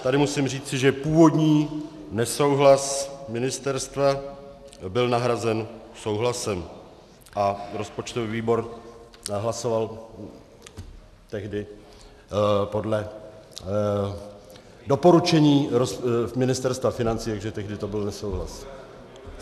Tady musím říci, že původní nesouhlas ministerstva byl nahrazen souhlasem a rozpočtový výbor hlasoval tehdy podle doporučení Ministerstva financí, takže tehdy to byl nesouhlas.